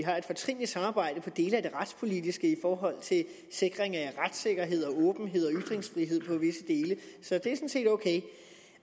har et fortrinligt samarbejde på visse dele af det retspolitiske i forhold til sikring af retssikkerhed åbenhed og ytringsfrihed så det set ok